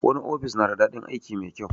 Wani ofis na da daɗin aiki mai kyau